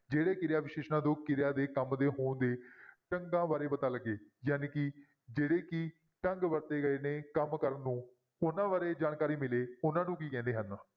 ਜਿਹੜੇ ਕਿਰਿਆ ਵਿਸ਼ੇਸ਼ਣਾਂ ਤੋਂ ਕਿਰਿਆ ਦੇ ਕੰਮ ਦੇ ਹੋਣ ਦੇ ਢੰਗਾਂ ਬਾਰੇ ਪਤਾ ਲੱਗੇ ਜਾਣੀ ਕਿ ਜਿਹੜੇ ਕਿ ਢੰਗ ਵਰਤੇ ਗਏ ਨੇ ਕੰਮ ਕਰਨ ਨੂੰ, ਉਹਨਾਂ ਬਾਰੇ ਜਾਣਕਾਰੀ ਮਿਲੇ ਉਹਨਾਂ ਨੂੰ ਕੀ ਕਹਿੰਦੇ ਹਨ?